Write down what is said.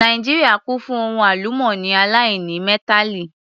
Nàìjíríà kún fún ohun àlùmọ́nì aláìnímẹ́tàlì